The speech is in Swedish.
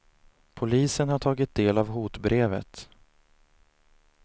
Polisen har tagit del av hotbrevet.